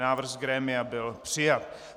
Návrh z grémia byl přijat.